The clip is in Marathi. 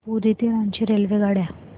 पुरी ते रांची रेल्वेगाड्या